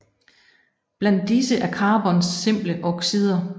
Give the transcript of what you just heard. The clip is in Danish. Blandt disse er carbons simple oxider